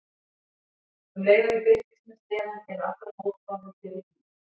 Um leið og ég birtist með sleðann eru allar mótbárur fyrir bí.